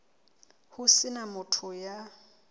ho se na motho ya